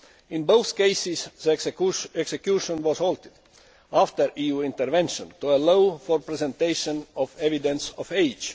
In both cases, the execution was halted after EU intervention to allow for presentation of evidence of age.